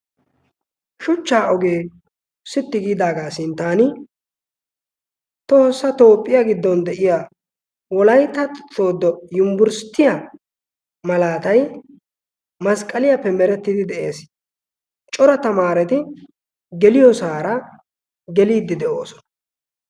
shuchchaa ogee sitti giidaagaa sintaani toosa toopphiyaa giddon de7iya wolaita sodo yumbbursttiya malaatai masqqaliyaappe merettidi de7ees cora tamaareti geliyo suara geliiddi de7oosona